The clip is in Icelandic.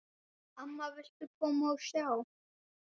Amma, viltu koma og sjá!